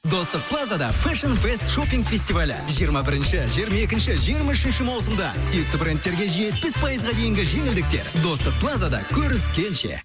достық плазада фестивалі жиырма бірінші жиырма екінші жиырма үшінші маусымда сүйікті брендтерге жетпіс пайызға дейінгі жеңілдіктер достық плазада көріскенше